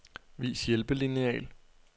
Vis hjælpelineal.